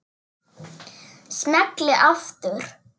Smelli aftur.